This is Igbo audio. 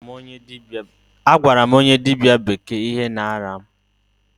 A gwara m onye dịbịa bekee ihe na-arịa mụ.